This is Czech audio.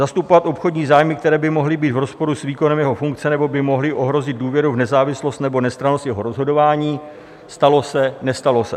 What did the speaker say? "Zastupovat obchodní zájmy, které by mohly být v rozporu s výkonem jeho funkce nebo by mohly ohrozit důvěru v nezávislost nebo nestrannost jeho rozhodování" - stalo se, nestalo se?